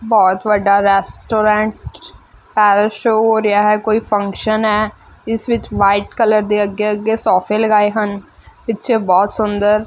ਹੋਰ ਤੁਹਾਡਾ ਰੈਸਟੋਰੈਂਟ ਪੈਰਲ ਸ਼ੋ ਹੋ ਰਿਹਾ ਹੈ ਕੋਈ ਫੰਕਸ਼ਨ ਏ ਇਸ ਵਿੱਚ ਵਾਈਟ ਕਲਰ ਦੇ ਅੱਗੇ-ਅੱਗੇ ਸੋਫੇ ਲਗਾਏ ਹਨ ਪਿੱਛੇ ਬਹੁਤ ਸੁੰਦਰ --